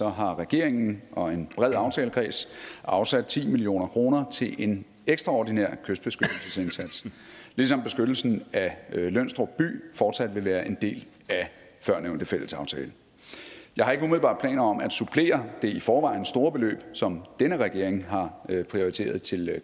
har regeringen og en bred aftalekreds afsat ti million kroner til en ekstraordinær kystbeskyttelsesindsats ligesom beskyttelsen af lønstrup by fortsat vil være en del af førnævnte fællesaftale jeg har ikke umiddelbart planer om at supplere det i forvejen store beløb som denne regering har prioriteret til